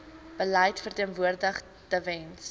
beleid verteenwoordig tewens